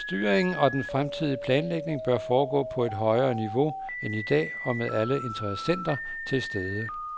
Styringen og den fremtidige planlægning bør foregå på et højere niveau end i dag og med alle interessenter til stede.